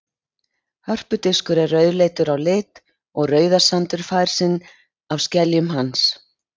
Hörpudiskur er rauðleitur á lit og Rauðasandur fær lit sinn af skeljum hans.